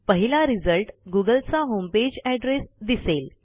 पहिला रिझल्ट गुगलचा homepage address दिसेल